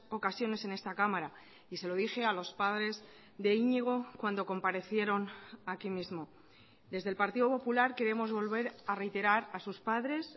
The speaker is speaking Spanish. ocasiones en esta cámara y se lo dije a los padres de iñigo cuando comparecieron aquí mismo desde el partido popular queremos volver a reiterar a sus padres